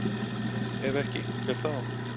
Ef ekki, hver þá?